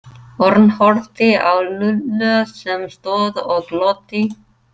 Örn horfði á Lúlla sem stóð og glotti.